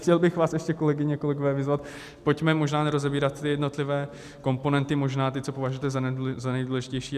Chtěl bych vás ještě, kolegyně, kolegové, vyzvat, pojďme možná nerozebírat ty jednotlivé komponenty, možná ty, co považujete za nejdůležitější.